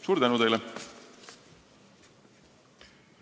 Suur tänu teile!